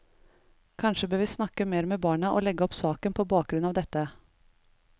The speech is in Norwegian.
Kanskje bør vi snakke mer med barna og legge opp saken på bakgrunn av dette.